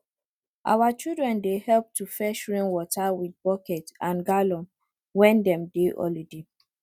our children dey help to fetch rainwater with bucket and gallon when dem dey holiday